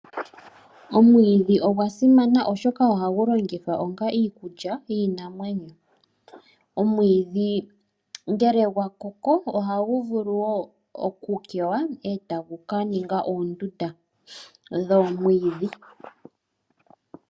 Omwidhi ogwa simana oshoka ohagu longitha onge iikulya yiinamwenyo. Omwiidhi ngele gwa koko, otagu vulu oku kewa, etagu ka ninga oondunda dhoomwidhi.